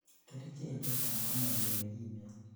kerichek chechang komagele gimen